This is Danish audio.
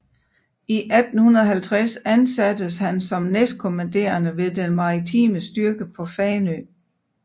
I 1850 ansattes han som næstkommanderende ved den maritime styrke på Fanø